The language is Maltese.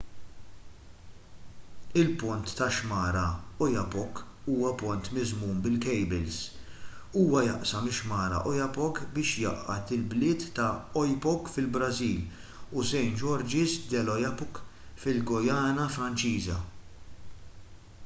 il-pont tax-xmara oyapock huwa pont miżmum bil-kejbils huwa jaqsam ix-xmara oyapock biex jgħaqqad il-bliet ta' oiapoque fil-brażil u saint-georges de l'oyapock fil-guyana franċiża